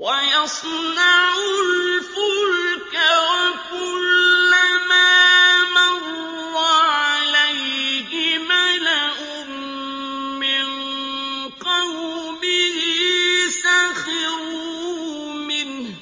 وَيَصْنَعُ الْفُلْكَ وَكُلَّمَا مَرَّ عَلَيْهِ مَلَأٌ مِّن قَوْمِهِ سَخِرُوا مِنْهُ ۚ